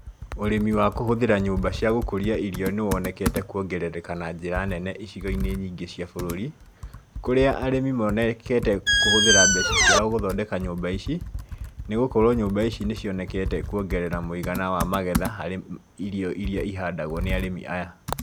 Ũrῖmi wa kῦhῦthῖra nyῦmba cῖa gῦkῦria wa irio nῖwonekete kῦongerereka na njῖra nene icigo-inῖ nyingῖ cia bῦrῦri, kũrĩa arῖmi monekete kῦhῦthῖra mbeca ciao gῦthondeka nyῦmba ici, nῖgῦkorwo nyῦmba ici nῖcionekete kuongerera mῦigana wa magetha harῖ irio iria ihandagwo nῖ arῖmi aya.